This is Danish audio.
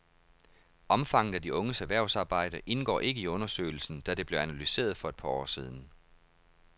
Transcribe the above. Omfanget af de unges erhvervsarbejde indgår ikke i undersøgelsen, da det blev analyseret for et par år siden.